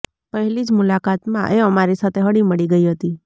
પહેલી જ મુલાકાત માં એ અમારી સાથે હળીમળી ગઈ હતી